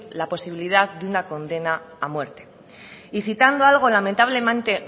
la posibilidad de una condena a muerte y citando algo lamentablemente